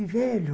E velho.